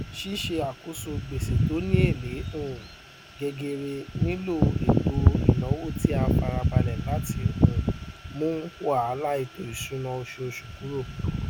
ṣíṣe àkóso gbèsè tó ni èlé um gegere nilo eto ìnáwó ti a farabalẹ lati um mu wàhálà ètò ìṣúná osoòsù kúrò